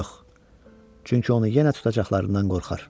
Yox, çünki onu yenə tutacaqlarından qorxar.